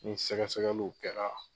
Ni sɛgɛsɛgɛliw kɛra